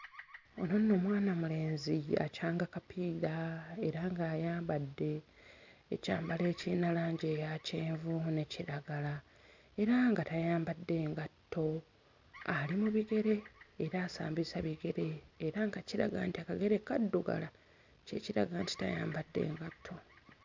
Ono nno mwana mulenzi ye akyanga kapiira era ng'ayambadde ekyambalo ekiyina langi eya kyenvu ne kiragala era nga tayambadde ngatto ali mu bigere era asambisa bigere era nga kiraga nti akagere kaddugala ekiraga nti tayambadde ngatto.